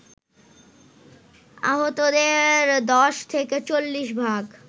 আহতদের ১০ থেকে ৪০ ভাগ